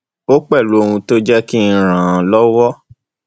ó pẹlú ohun tó jẹ kí n ràn án lọwọ